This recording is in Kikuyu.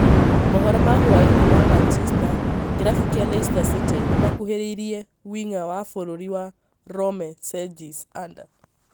Mohoro ma hwai-inĩ ma Manchester kĩrabu kĩa Leicester city nĩmakũhĩrĩirie wing'a wa bũrũri wa Rome Cengiz Under.